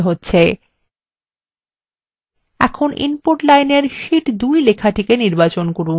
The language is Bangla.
এখন input line শীট 2 লেখাটি নির্বাচন করুন